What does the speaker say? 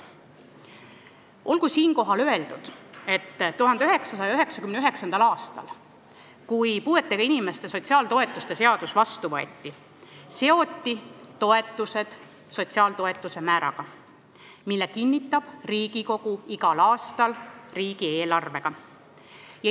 Olgu siinkohal öeldud, et 1999. aastal, kui puuetega inimeste sotsiaaltoetuste seadus vastu võeti, seoti toetused sotsiaaltoetuste määraga, mille kinnitab Riigikogu igal aastal riigieelarvega.